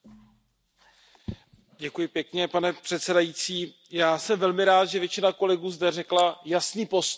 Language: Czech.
Pane předsedající, já jsem velmi rád, že většina kolegů zde řekla jasný postoj, že rozhodnutí Rady je špatné.